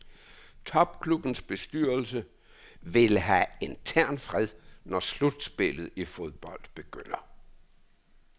Topklubbens bestyrelse vil have intern fred når slutspillet i fodbold begynder.